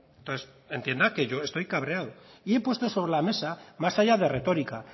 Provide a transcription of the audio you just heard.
entonces entienda que yo estoy cabreado y he puesto sobre la mesa más allá de retórica